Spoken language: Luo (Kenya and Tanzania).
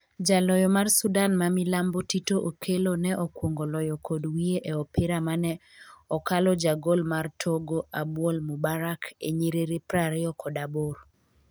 Jaloyo mar Sudan ma milambo Tito Okello ne okuongo loyo kod wiye e opira mane okalo Jagol mar Togo Abuol Moubarak e nyiriri prariyo kod aboro